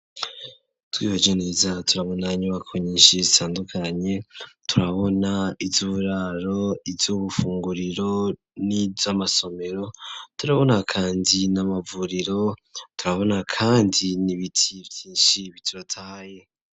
Twihweje neza turabona inyubako nyinshi zitandukanye, turabona iyuburaro iy'ubufunguriro n'iy'amasomero, turabona kandi n'amavuriro, turabona kandi n,ibiti vyinshi bitotahaye.